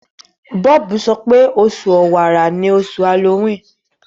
Bob sope Oṣù Ọ̀wàrà ní oṣù Halloween.